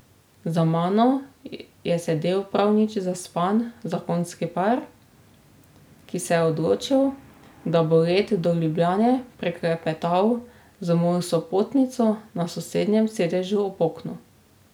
Za mano je sedel prav nič zaspan zakonski par, ki se je odločil, da bo let do Ljubljane preklepetal z mojo sopotnico na sosednjem sedežu ob oknu.